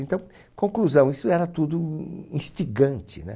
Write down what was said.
Então, conclusão, isso era tudo instigante né